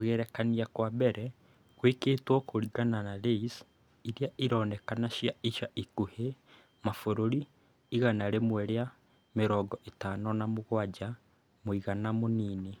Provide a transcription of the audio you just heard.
Kũgerekania kwa mbere gwekĩtwo kũringana na LAYS iria ironeka ica ikuhĩ cia mabũrũri mabũrũri igana rĩmwe rĩa mĩrongo ĩtano na mũgwanja (mũigana mũnini).